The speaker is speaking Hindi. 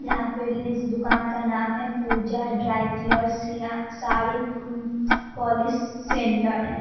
यहाँ पे इस दुकान का नाम है पूजा ड्राई कलर्स या साड़ी उम पोलिश सेंटर है